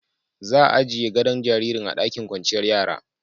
Za'a ajie godo'n jaririn a'ɗakin kwanciyar yaran.